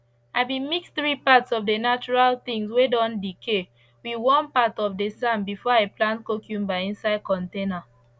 i been mix 3 parts of the natural things whey don decay with one part of the sand before i plant cucumber inside container